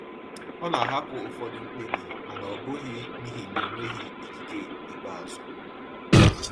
Ọ na-ahapụ ụfọdụ mkpebi, mana ọ bụghị n’ihi na ọ nweghị ikike ikpeazụ.